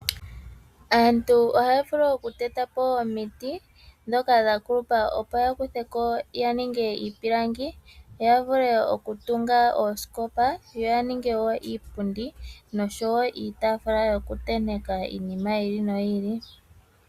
Aantu ohaya vulu okutetapo omiti ndhoka dha kulupa opo ya kutheko ya ninge iipilangi ya vule okutunga oosikopa yo ya ninge wo iipundi noshowo iitafula yokutenteka iinima yili noyili.